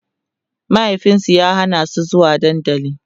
mahaifinsu ya Hana su zuwa dandali